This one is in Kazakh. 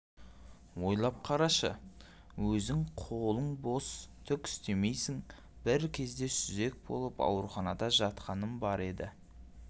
ойлап қарашы өзің қолың бос түк істемейсің бір кезде сүзек болып ауруханада жатқаным бар еді